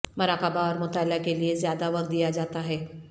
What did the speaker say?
مراقبہ اور مطالعہ کے لئے زیادہ وقت دیا جاتا ہے